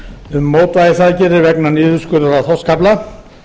um mótvægisaðgerðir vegna niðurskurðar á þorskafla